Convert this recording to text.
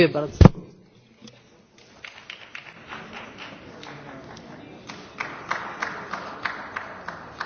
Képviselőtársaim érzékenysége így a késő esti órákban megérthető,